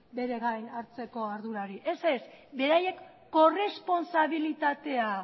bere gain hartzeko ardurarik ez ez beraiek korrespontsabilitatea